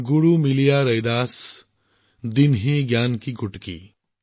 গুৰু মিলিয়া ৰাইদাস দিনহি জ্ঞান কি গুটকি